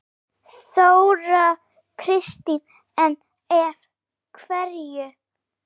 Þóra Kristín: En af hverju?